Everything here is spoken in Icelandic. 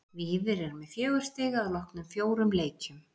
Víðir er með fjögur stig að loknum fjórum leikjum.